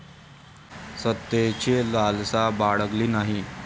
सत्तेची लालसा बाळगली नाही.